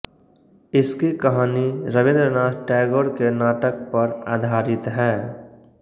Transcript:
इसकी कहानी रबीन्द्रनाथ टैगोर के नाटक पर आधारित है